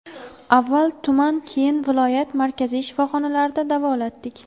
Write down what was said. Avval tuman keyin viloyat markaziy shifoxonalarida davolatdik.